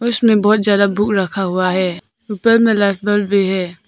उसमें बहुत ज्यादा बुक रखा हुआ है ऊपर में लाइट बल्ब भी है।